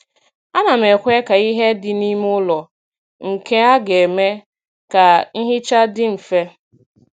A na m ekwe ka ihe dị n'ime ụlọ, nke a ga-eme ka nhicha dị mfe.